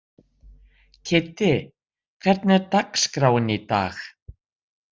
Kiddi, hvernig er dagskráin í dag?